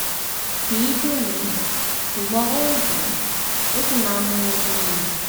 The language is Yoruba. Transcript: kì í dùn mí ṣùgbọ́n ó ń dún ó sì máa ń múnú bí mi